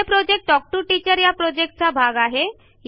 हे project talk to teacher या प्रॉजेक्टचा भाग आहे